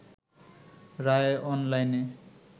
রায় অনলাইনে